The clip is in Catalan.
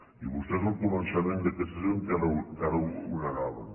i vostès al començament d’aquesta sessió encara ho negaven